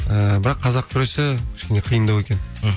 ііі бірақ қазақ күресі кішкене қиындау екен мхм